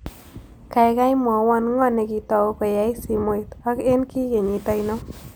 Kaigai mwawon ng'o ne ki tou koyai simoit ak eng' ki kenyit ainon